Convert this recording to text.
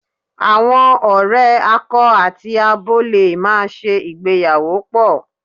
Àwọn ọ̀rẹ́ akọ àti abo lè máa ṣe ìgbéyàwó pọ̀.